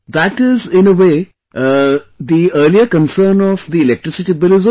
That is, in a way, the earlier concern of electricity bill is over